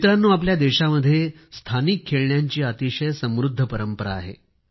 मित्रांनो आपल्या देशामध्ये स्थानिक खेळण्यांची अतिशय समृद्ध परंपरा आहे